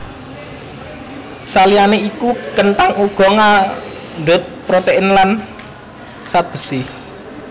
Saliyané iku kenthang uga ngandhut protein lan zat besi